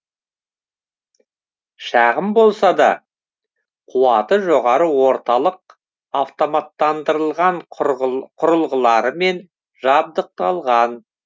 шағын болса да қуаты жоғары орталық автоматтандырылған құрылғыларымен жабдықталған